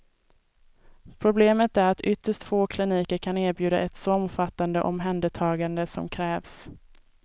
Problemet är att ytterst få kliniker kan erbjuda ett så omfattande omhändertagande som krävs.